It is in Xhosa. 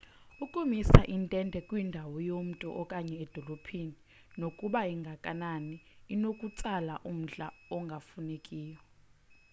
ukumisa intente kwindawo yomntu okanye edolophini nokuba ingakanani kunokutsala umdla ongafunekiyo